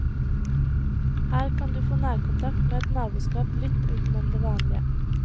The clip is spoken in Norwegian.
Her kan du få nærkontakt med et naboskap litt utenom det vanlige.